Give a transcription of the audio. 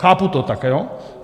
Chápu to tak, jo?